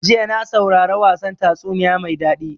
Jiya na saurara wasan tatsuniya mai daɗi.